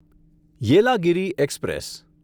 Yelagiri express